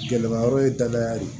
Gɛlɛma yɔrɔ ye danaya de ye